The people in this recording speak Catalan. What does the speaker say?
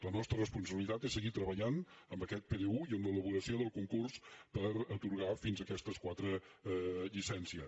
la nostra responsabilitat és seguir treba·llant en aquest pdu i en l’elaboració del concurs per atorgar fins aquestes quatre llicències